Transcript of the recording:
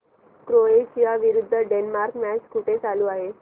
Croatia विरुद्ध Denmark match कुठे चालू आहे